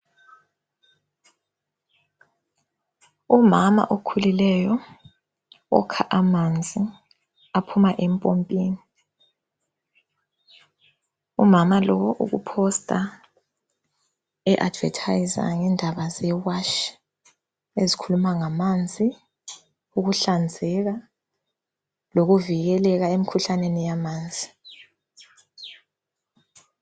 Umama okhulileyo ukha amanzi aphuma empompini. Umama lo ukuposter eadvertiser ngendaba zeWASH ezikhuluma ngamanzi , ukuhlanzeka lokuvikeleka emkhuhlaneni yamanzi.